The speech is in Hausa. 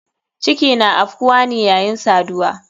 Ciki na afkuwane yayin saduwa.